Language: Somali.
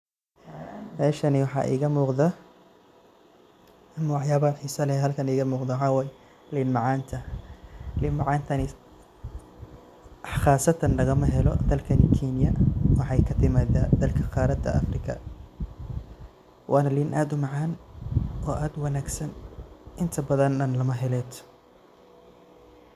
Meshani waxa iga muqdah, nocyatha basala iga muqdah maxawaye leenta macantaa qaasatan lagamahelo dalkena keenya waxakatimataa dalka qarada Afrika Wana leen aad u macan oo aad u wangsan intabathan lamahelo .